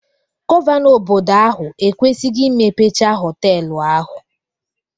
Gọvanọ obodo ahụ ekwesigo imepecha họtelu ahụ